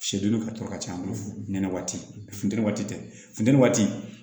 Siyɛdennin ka co ka ca ɲɛnɛ waati funtɛni waati tɛ funteni waati